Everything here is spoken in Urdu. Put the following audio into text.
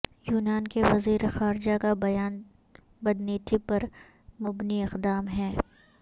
یونان کے وزیر خارجہ کا بیان بدنیتی پر مبنی اقدام ہے